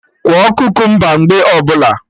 Kwọọ kukumba mgbe ọbụla